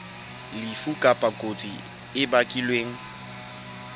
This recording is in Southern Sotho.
lefu kapa kotsi e bakilweng